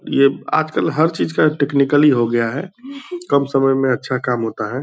ये आज कल हर चीज का टेक्निकली हो गया है। कम समय में अच्छा काम होता है।